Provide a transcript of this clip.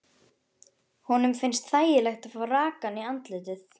Honum finnst þægilegt að fá rakann í andlitið.